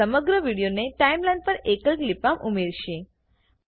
આ સમગ્ર વિડીયોને ટાઈમલાઈન પર એકલ ક્લીપમાં ઉમેરશે